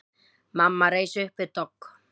Mamma reis upp við dogg.